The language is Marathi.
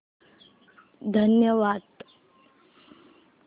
धन्यवाद